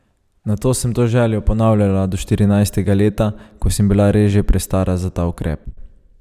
Nato sem to željo ponavljala do štirinajstega leta, ko sem bila res že prestara za ta ukrep.